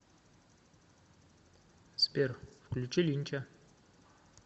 сбер включи линча